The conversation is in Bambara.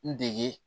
N dege